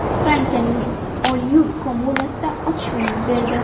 Fransiyaning Olyul kommunasida otishma yuz berdi.